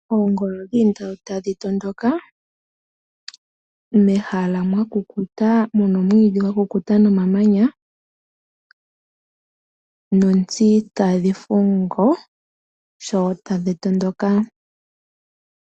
Oongolo dhi li ndatu tadhi tondoka mehala mwa kukuta mu na omwiidhi gwa kukuta nomamanya nontsi tadhi fundu sho tadhi tondoka.